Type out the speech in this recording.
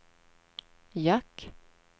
jack